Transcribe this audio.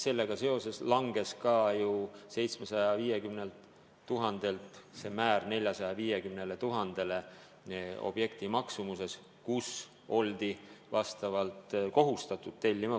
Sellega seoses langes ka ju objekti maksumuse määr, millest alates pidi kunsti tellima, 750 000-lt 450 000-le.